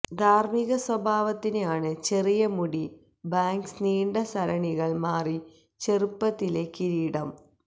ധാര്മ്മിക സ്വഭാവത്തിന് ആണ് ചെറിയ മുടി ബാംഗ്സ് നീണ്ട സരണികൾ മാറി ചെറുപ്പത്തിലെ കിരീടം ന്